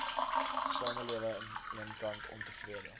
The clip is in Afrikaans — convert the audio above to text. samelewing eenkant ontevrede